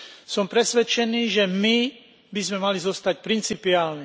Som presvedčený, že my by sme mali zostať principiálni.